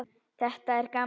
Þetta er gaman.